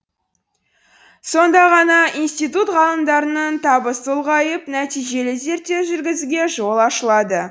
сонда ғана институт ғалымдарының табысы ұлғайып нәтижелі зерттеу жүргізуге жол ашылады